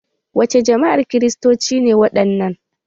Wa ce jama'ar kiristoci ne waɗannan?